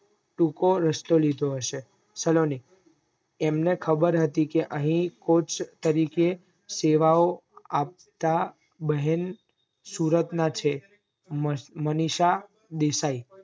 ટૂંકો રસ્તો લીધો હશે સલોની એમને ખબર હતી કે અહીં coach તરીકે સેવાઓ આપતા બેહેન સુરત માં છે મનીષા દેસાઈ